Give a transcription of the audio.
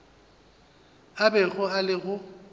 a bego a le go